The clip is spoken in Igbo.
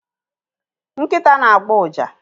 nkịta na-agbọ ụja